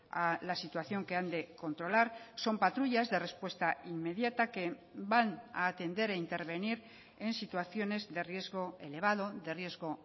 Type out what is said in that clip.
a la situación que han de controlar son patrullas de respuesta inmediata que van a atender e intervenir en situaciones de riesgo elevado de riesgo